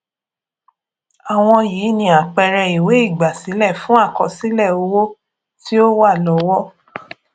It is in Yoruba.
àwọn yìí ni àpẹẹrẹ ìwé ígbásílẹ fun àkọsílẹ owo tí o wa lọwo